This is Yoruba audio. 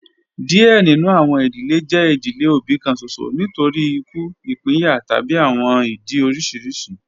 Diẹ ninu awọn idile jẹ idile obi kan ṣoṣo nitori iku, ipinya tabi awọn idi oriṣiriṣi